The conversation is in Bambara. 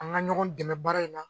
An ka ɲɔgɔn dɛmɛ baara in na.